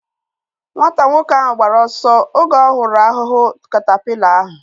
Nwata nwoke ahu gbara ọsọ oge ọ hụrụ ahụhụ katapila ahu